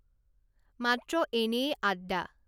মাত্ৰ এনেয়েই আড্ডা